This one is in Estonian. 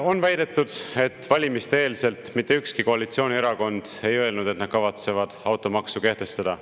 On väidetud, et valimiste-eelselt mitte ükski koalitsioonierakond ei öelnud, et nad kavatsevad automaksu kehtestada.